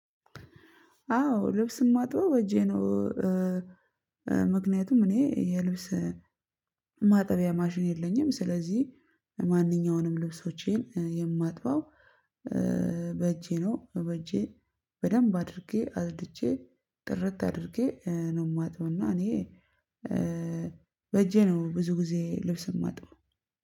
አዎ ልብስ ማጥበው በእጄ ነው። ምክንያቱም እኔ የልብስ ማጠቢያ ማሽን የለኝም። ስለዚህ ማንኛውንም ልብሶቼን የማጥበው በእጄ ነው በእጄ በደንብ አድርጌ አጽድቼ ጥርት አድርጌ ነው። የማጥበውና እኔ በእጄ ነው ብዙ ጊዜ ልብስ የማጥበው